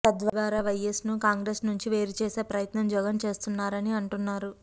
తద్వారా వైయస్ ను కాంగ్రెసు నుంచి వేరు చేసే ప్రయత్నం జగన్ చేస్తున్నారని అంటున్నారు